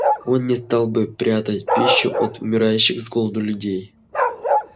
он не стал бы прятать пищу от умирающих с голоду людей